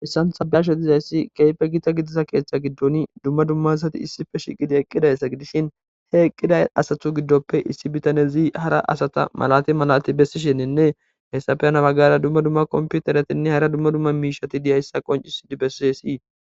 Hayissan ta be'ashedizayssi keype gita gidiza keeththa giddoni dumma dummasati issife shiqidi eqqidayssa gidishin he eqqida asatu giddoppe issi bitane zii hara asata malati malati bessishinninne hessafeyanabagara dumma dumma kompiutaratinne hara dumma dumma miishati diyayssa qoncisidi bessiassii.